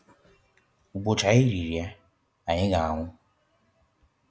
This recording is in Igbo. Ụbọchị anyị riri ya, anyị ga anwụ.